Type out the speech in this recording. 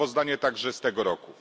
i sprawozdanie także z tego roku.